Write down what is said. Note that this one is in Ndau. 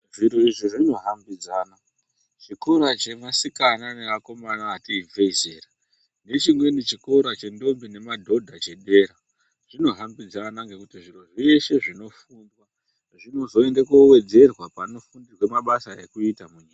Zviro izvi zvinohambidzana, chikora chevasikana nevakomana ati ibvei zera nechimweni chikora chentombi nemadhodha chedera zvinohambidzana ngendaa yekuti zviro zveshe zvinofundwa zvinozoende kowedzerwa panofundirwe mabasa ekuita.